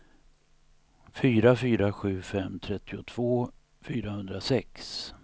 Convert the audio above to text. fyra fyra sju fem trettiotvå fyrahundrasex